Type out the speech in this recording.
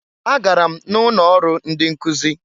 Agara m na ụnọ ọrụ ndị nkụz.